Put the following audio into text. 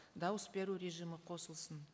дауыс беру режимі қосылсын